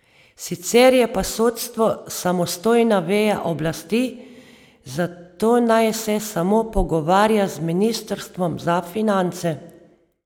Sicer je pa sodstvo samostojna veja oblasti, zato naj se samo pogovarja z ministrstvom za finance.